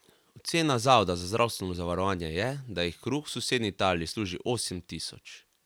Ocena Zavoda za zdravstveno zavarovanje je, da jih kruh v sosednji Italiji služi osem tisoč.